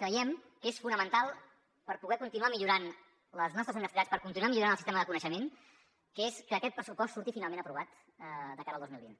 creiem que és fonamental per poder continuar millorant les nostres universitats per continuar millorant el sistema de coneixement que aquest pressupost surti finalment aprovat de cara al dos mil vint